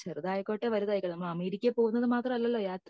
ചെറുതായിക്കോട്ടെ വലുതായിക്കോട്ടെ നമ്മൾ അമേരിക്കയിൽ പോകുന്നത് മാത്രം അല്ലല്ലോ യാത്ര